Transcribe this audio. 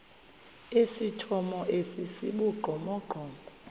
esithomo esi sibugqomogqomo